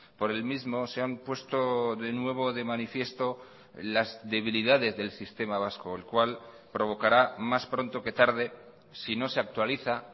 por el mismo se han puesto de nuevo de manifiesto las debilidades del sistema vasco el cual provocará más pronto que tarde si no se actualiza